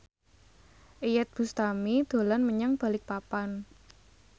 Iyeth Bustami dolan menyang Balikpapan